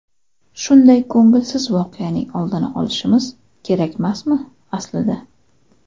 Shunday ko‘ngilsiz voqeaning oldini olishimiz kerakmasmi aslida.